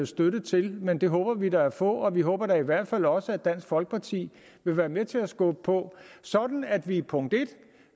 støtte til men det håber vi da at få vi håber da i hvert fald også at dansk folkeparti vil være med til at skubbe på sådan at vi punkt en